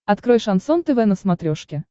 открой шансон тв на смотрешке